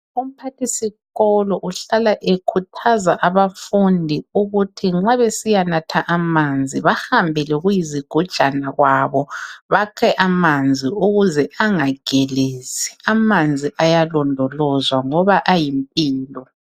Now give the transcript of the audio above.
Umphathisikolo uhlala ekhuthaza abafundi ukuthi nxa besiyanatha amanzi bahambe lokuyizigujana kwabo bakhe amanzi ukuze angagelezi. Amanzi ayalondolozwa ngoba ayimpilo.